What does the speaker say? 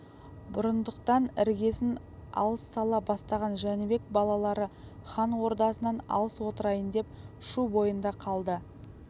бұрындықтан іргесін алыс сала бастаған жәнібек балалары хан ордасынан алыс отырайын деп шу бойында қалды